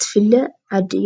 ትፍለጥ ዓዲ እያ።